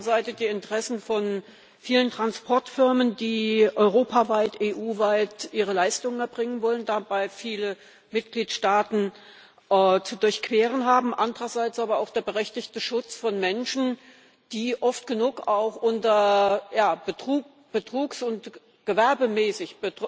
Auf der einen Seite die Interessen von vielen Transportfirmen, die europaweit, EU weit, ihre Leistungen erbringen wollen, dabei viele Mitgliedstaaten zu durchqueren haben, andererseits aber auch der berechtigte Schutz von Menschen, die oft genug auch unter gewerbsmäßig